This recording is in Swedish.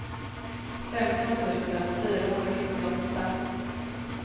femton tusen fyrahundrasjuttioåtta